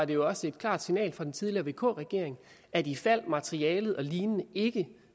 det også et klart signal fra den tidligere vk regering at ifald materialet og lignende ikke